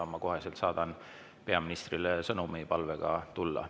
Ma kohe saadan peaministrile sõnumi palvega siia tulla.